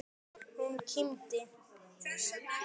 Hún kímdi.